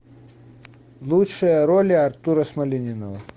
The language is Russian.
лучшие роли артура смольянинова